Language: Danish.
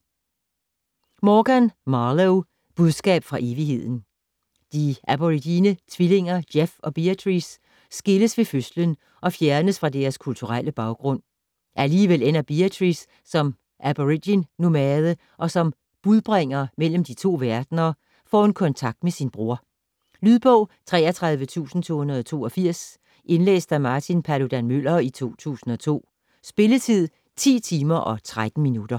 Morgan, Marlo: Budskab fra evigheden De aborigine tvillinger Geoff og Beatrice skilles ved fødslen og fjernes fra deres kulturelle baggrund. Alligevel ender Beatrice som aborigin-nomade, og som "budbringer mellem de to verdener" får hun kontakt med sin bror. Lydbog 33282 Indlæst af Martin Paludan-Müller, 2002. Spilletid: 10 timer, 13 minutter.